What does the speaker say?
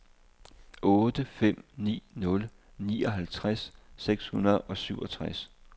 otte fem ni nul nioghalvtreds seks hundrede og syvogtres